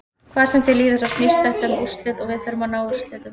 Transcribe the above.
Hvað sem því líður þá snýst þetta um úrslit og við þurfum að ná úrslitum.